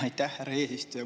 Aitäh, härra eesistuja!